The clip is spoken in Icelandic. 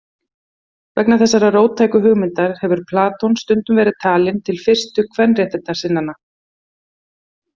Vegna þessara róttæku hugmynda hefur Platon stundum verið talinn til fyrstu kvenréttindasinnanna.